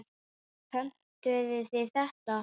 Pöntuðu þið þetta?